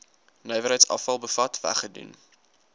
nywerheidsafval bevat weggedoen